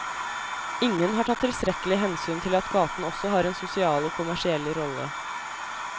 Ingen har tatt tilstrekkelig hensyn til at gaten også har en sosial og kommersiell rolle.